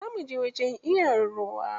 Za muje wajen iyon ruwa.